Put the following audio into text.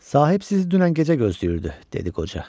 Sahib sizi dünən gecə gözləyirdi, dedi qoca.